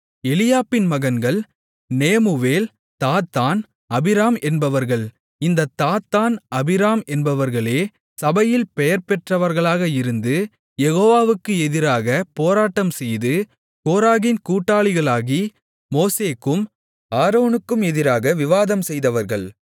எலியாபின் மகன்கள் நேமுவேல் தாத்தான் அபிராம் என்பவர்கள் இந்தத் தாத்தான் அபிராம் என்பவர்களே சபையில் பெயர்பெற்றவர்களாக இருந்து யெகோவாவுக்கு எதிராகப் போராட்டம்செய்து கோராகின் கூட்டாளிகளாகி மோசேக்கும் ஆரோனுக்கும் எதிராக விவாதம்செய்தவர்கள்